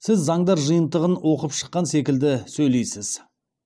сіз заңдар жиынтығын оқып шыққан секілді сөйлейсіз